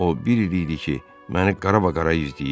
O bir il idi ki, məni qaraqara izləyirdi.